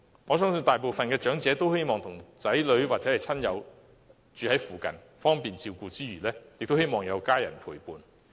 我相信大部分長者都希望子女和親友可以住在附近，方便照顧之餘，也有家人陪伴。